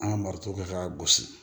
An ka marifaw kɛ k'a gosi